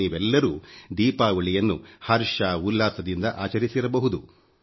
ನೀವೆಲ್ಲರೂ ದೀಪಾವಳಿಯನ್ನು ಹರ್ಷ ಉಲ್ಲಾಸದಿಂದ ಆಚರಿಸಬಹುದು